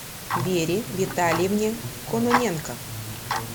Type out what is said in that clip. вере витальевне кононенко